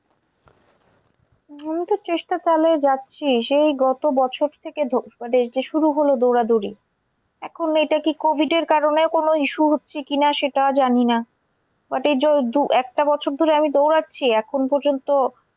আমি তো চেষ্টা চালায়ে যাচ্ছি। সেই গত বছর থেকে মানে যে শুরু হলো দৌড়াদৌড়ি এখন এটা কি covid এর কারণেও কোন issue হচ্ছে কি না সেটা জানিনা। but এই যো দু একটা বছর ধরে আমি দৌড়াচ্ছি এখন পর্যন্ত